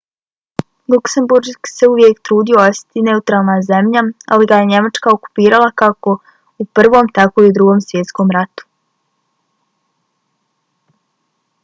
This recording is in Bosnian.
luksemburg se uvijek trudio ostati neutralna zemlja ali ga je njemačka okupirala kako u prvom tako i u drugom svjetskom ratu